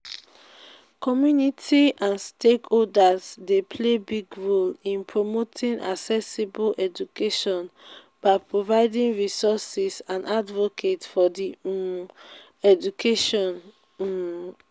community and stakeholders dey play big role in promoting accessible education by providing resources and advocate for di um education. um